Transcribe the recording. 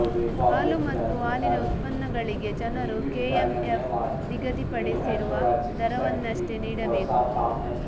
ಹಾಲು ಮತ್ತು ಹಾಲಿನ ಉತ್ಪನ್ನಗಳಿಗೆ ಜನರು ಕೆಎಂಎಫ್ ನಿಗದಿಪಡಿಸಿರುವ ದರವನ್ನಷ್ಟೇ ನೀಡಬೇಕು